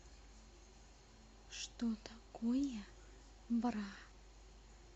что такое бра